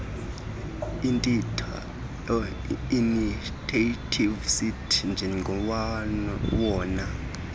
initiative citi njengowona